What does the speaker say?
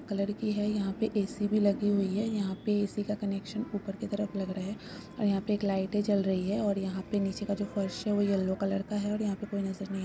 Colour की है यहाँ पे ए.सि. भी लगे हुए है यहाँ पे ए.सि. का कनेक्सन ऊपर की तरप लग रहे है और यहाँ पे एक लाइट -ए ज्वल रही है और यहाँ पे निचे का जो फर्स है ओ यल्लो कलर का है और यहाँ पे कोइ नजर नहीं--